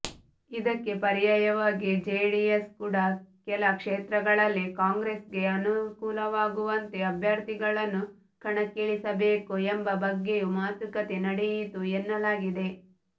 ಇದಕ್ಕೆ ಪರ್ಯಾಯವಾಗಿ ಜೆಡಿಎಸ್ ಕೂಡ ಕೆಲ ಕ್ಷೇತ್ರಗಳಲ್ಲಿ ಕಾಂಗ್ರೆಸ್ಗೆ ಅನುಕೂಲವಾಗುವಂತೆ ಅಭ್ಯರ್ಥಿಗಳನ್ನು ಕಣಕ್ಕಿಳಿಸಬೇಕು ಎಂಬ ಬಗ್ಗೆಯೂ ಮಾತುಕತೆ ನಡೆಯಿತು ಎನ್ನಲಾಗಿದೆ